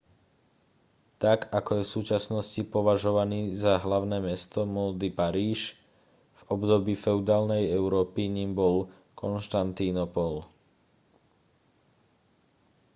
tak ako je v súčasnosti považovaný za hlavné mesto módy paríž v období feudálnej európy ním bol konštantínopol